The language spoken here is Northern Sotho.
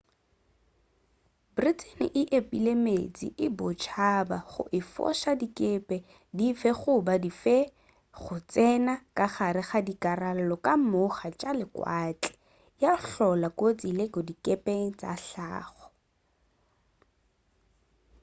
britain e epile meetse a bosetšhaba go efoša dikepe dife goba dife go tsena ka gare ga dikarolo ka moga tša lewatle ya hlola kotsi le go dikepe tša hlago